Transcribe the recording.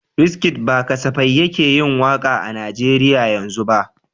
Wizkid ba kasafai yake yin waka a Najeriya yanzu ba.